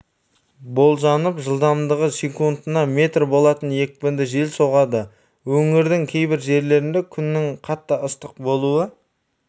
болжанып жылдамдығы секундына метр болатын екпінді жел соғады өңірдің кейбір жерлерінде күннің қатты ыстық болуы